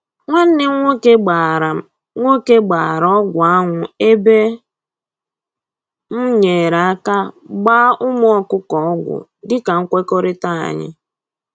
Nwanne m nwoke gbara m nwoke gbara ọgwụ anwụ ebe m nyere aka gbaa ụmụ ọkụkọ ọgwụ dịka nkwekọrịta anyị